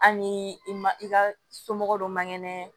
Hali ni i ma i ka somɔgɔ dɔ man kɛnɛ